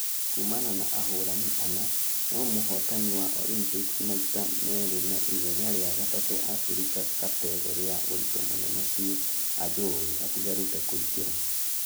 Kuumana na ahũrani ana , nũ mũhotani wa olympics maita merĩ na igenya rĩa gatatũ africa kategore ya ũritũ mũnene biũ ajowi atigarĩte kũingera......